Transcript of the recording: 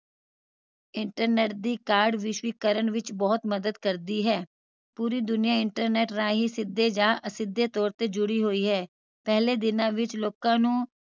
internet ਦੀ ਕਾਢ ਵਿਸ਼ਵੀਕਰਨ ਵਿਚ ਬਹੁਤ ਮਦਦ ਕਰਦੀ ਹੈ ਪੂਰੀ ਦੁਨੀਆ internet ਰਾਹੀਂ ਸਿਧੇ ਜਾ ਅਸਿਧੇ ਤੋਰ ਤੇ ਜੁੜੀ ਹੋਈ ਹੈ ਪਹਿਲੇ ਦੀਨਾ ਵਿਚ ਲੋਕਾਂ ਨੂੰ